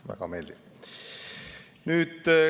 Väga meeldiv.